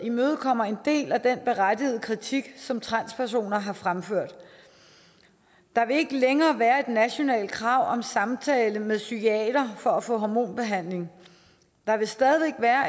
imødekommer en del af den berettigede kritik som transpersoner har fremført der vil ikke længere være et nationalt krav om samtale med en psykiater for at få hormonbehandling der vil stadig væk være